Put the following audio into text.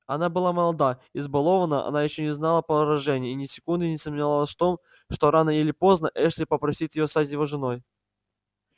она была молода избалованна она ещё не знала поражений и ни секунды не сомневалась в том что рано или поздно эшли попросит её стать его женой